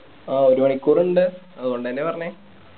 ആ ഒരു മണിക്കൂർ ഉണ്ട് അതുകൊണ്ട് തന്നെയാ പറഞ്ഞേ